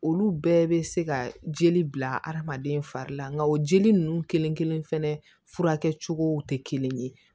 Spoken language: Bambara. Olu bɛɛ bɛ se ka jeli bila adamaden fari la nka o jeli ninnu kelen kelen fɛnɛ furakɛ cogo tɛ kelen ye